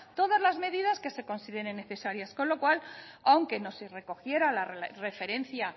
todas las medidas que se consideren necesarias con lo cual aunque no se recogiera la referencia